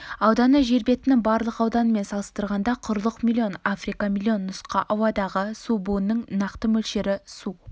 ауданы жер бетінің барлық ауданымен салыстырғанда құрлық млн африка млн нұска ауадағы су буының нақты мөлшері су